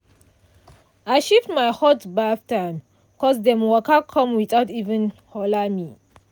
i shift my hot baff time 'cos dem waka come without even holler me.